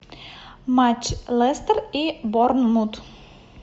матч лестер и борнмут